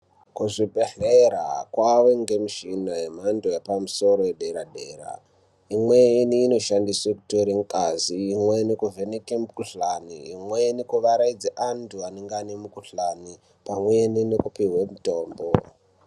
Kuzvibhehlera kwave nemishina yemhando yepamusoro yederadera. Imweni inoshandiswa kuteera ngazi, imweni kuvheneke mukhuhlane, imweni kuvaraidze antu anenge ane mukhuhlane pamwe nekupihwa mitombo.